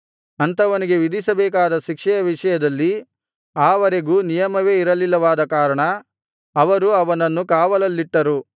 ಅಂಥವನಿಗೆ ವಿಧಿಸಬೇಕಾದ ಶಿಕ್ಷೆಯ ವಿಷಯದಲ್ಲಿ ಆ ವರೆಗೂ ನಿಯಮವೇ ಇರಲಿಲ್ಲವಾದ ಕಾರಣ ಅವರು ಅವನನ್ನು ಕಾವಲಲ್ಲಿಟ್ಟರು